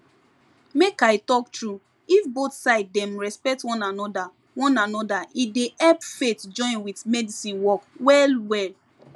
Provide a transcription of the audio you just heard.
make i talk true if both side dem respect one anoda one anoda e dey help faith join with medicine work well well